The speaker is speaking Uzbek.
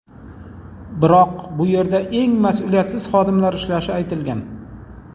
Biroq bu yerda eng mas’uliyatsiz xodimlar ishlashi aytilgan.